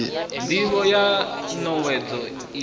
ndivho ya n owedzo iyi